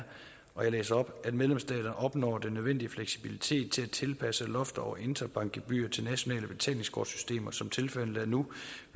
og jeg læser op at medlemsstaterne opnår den nødvendige fleksibilitet til at tilpasse lofterne over interbankgebyrer til nationale betalingskortsystemer som tilfældet er nu